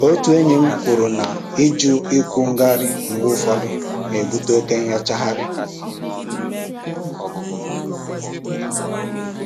Otu enyí m kwuru na ịjụ ịkwụ ngarị mgbe ụfọdụ na-ebute oke nyochagharị